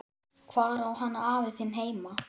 Hvar á hann afi þinn heima?